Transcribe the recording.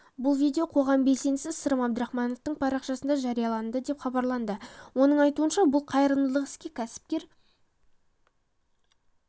бұл видео қоғам белсендісі сырым әбдірахмановтың парақшасында жарияланды деп хабарлайды оның айтуынша бұл қайырымдылық іске кәсіпкер